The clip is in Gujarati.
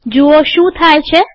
જુઓ શું થાય છે